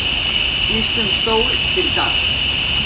Snýst um stól fyrir Dag